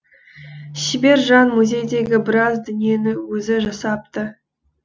шебер жан музейдегі біраз дүниені өзі жасапты